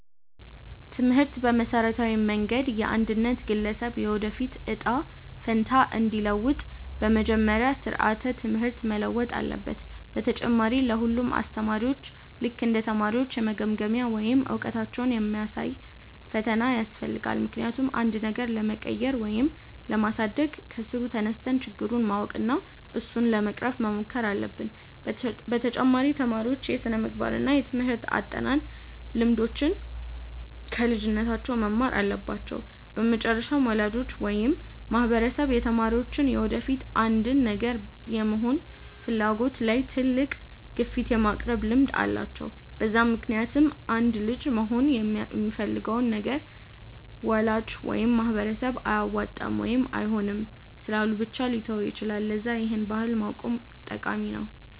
ትምህርት በመሠረታዊ መንገድ የአንድን ግለሰብ የወደፊት እጣ ፈንታ እንዲለውጥ፤ በመጀመሪያ ስራዓተ ትምህርት መለወጥ አለበት፣ በተጨማሪ ለ ሁሉም አስተማሪዎች ልክ እንደ ተማሪዎች የመገምገሚያ ወይም እውቀታቸውን የሚያሳይ ፈተና ያስፈልጋል፤ ምክንያቱም አንድን ነገር ለመቀየር ወይም ለማሳደግ ከስሩ ተነስተን ችግሩን ማወቅ እና እሱን ለመቅረፍ መሞከር አለብን፤ በተጨማሪ ተማሪዎች የስነምግባር እና የትምርህት አጠናን ልምዶችን ከልጅነታቸው መማር አለባቸው፤ በመጨረሻም ወላጆች ወይም ማህበረሰብ የተማሪዎች የወደፊት አንድን ነገር የመሆን ፍላጎት ላይ ትልቅ ግፊት የማቅረብ ልምድ አላቸው፤ በዛ ምክንያትም አንድ ልጅ መሆን የሚፈልገውን ነገር ወላጅ ወይም ማህበረሰብ አያዋጣም ወይም አይሆንም ስላሉ ብቻ ሊተወው ይችላል፤ ለዛ ይህን ባህል ማቆም ጠቃሚ ነው።